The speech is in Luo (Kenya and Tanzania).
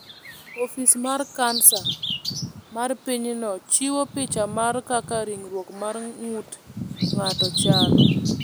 Ofis mar Kansa mar pinyno chiwo picha mar kaka ringruok mar ng’ut ng’ato chalo.